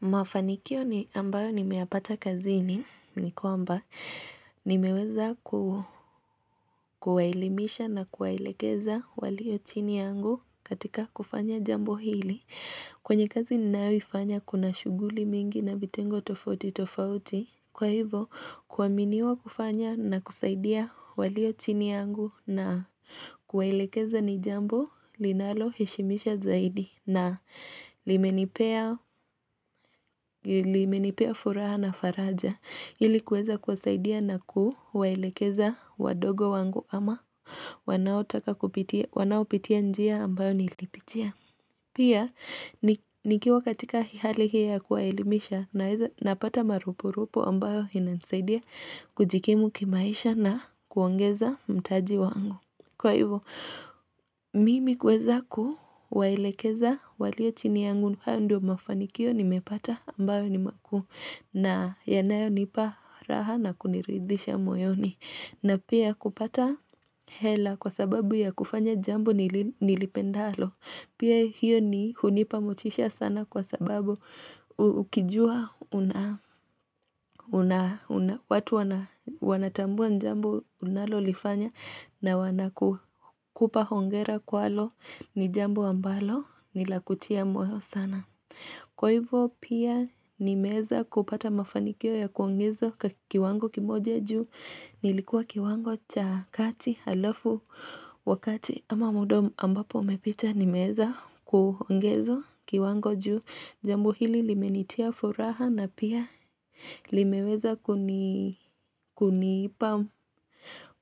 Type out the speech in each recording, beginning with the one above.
Mafanikio ni ambayo nimeyapata kazini ni kwamba nimeweza kuwaelimisha na kuwaelekeza walio chini yangu katika kufanya jambo hili kwenye kazi ni naifanya kuna shuguli mingi na vitengo tofauti tofauti Kwa hivo kuwaminiwa kufanya na kusaidia walio chini yangu na kuwaelekeza ni jambo linalo heshimisha zaidi na limenipea furaha na faraja Hili kuweza kuwasaidia na kuwaelekeza wadogo wangu ama wanao pitia njia ambayo nilipitia Pia, nikiwa katika hali hii ya kuwaelimisha Napata marupu rupu ambayo inanisaidia kujikimu kimaisha na kuongeza mtaji wangu Kwa hivo, mimi kuweza kuwaelekeza walio chini yangu hayo ndio mafanikio nimepata ambayo ni makuu na yanayo nipa raha na kuniridhisha moyoni na pia kupata hela kwa sababu ya kufanya jambo nilipendalo Pia hiyo ni hunipa motisha sana kwa sababu Ukijua watu wanatambua jambo unalo lifanya na wanakupa hongera kwalo ni jambo ambalo ni la kutia moyo sana Kwa hivyo pia nimeweza kupata mafanikio ya kuongeza kiwango kimoja juu nilikuwa kiwango cha kati halafu wakati ama muda ambapo umepita nimeweza kuongeza kiwango juu jambu hili limenitia furaha na pia limeweza kuni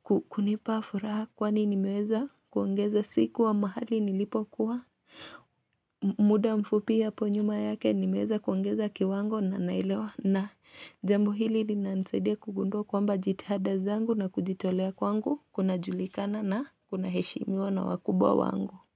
kunipa furaha kwani nimeweza kuongeza siku wa mahali nilipo kuwa muda mfupi hapo nyuma yake nimeweza kuongeza kiwango na nailewa na jambo hili linanisaidia kugundua kwamba jitihada zangu na kujitolea kwangu kuna julikana na kuna heshimiwa na wakubwa wango.